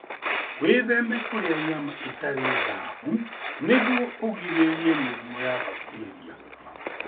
Wĩtheme kũrĩa nyama itarĩ thaahu nĩguo ũgirĩrĩrie mĩrimũ ya bakteria.